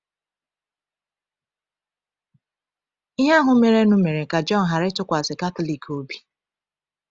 Ihe ahụ merenụ mere ka Jọn ghara ịtụkwasị Katọlik obi.